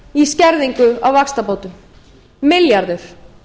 í skerðingu á vaxtabótum milljarður